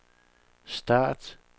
start